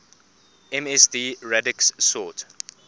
msd radix sort